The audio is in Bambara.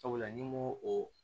Sabula ni n ko o